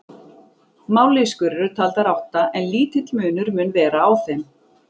Mállýskur eru taldar átta en lítill munur mun vera á þeim.